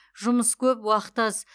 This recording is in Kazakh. жұмыс көп уақыт аз